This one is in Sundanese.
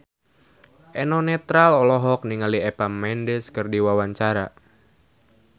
Eno Netral olohok ningali Eva Mendes keur diwawancara